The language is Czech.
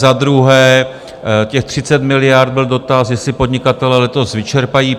Za druhé, těch 30 miliard, byl dotaz, jestli podnikatelé letos vyčerpají.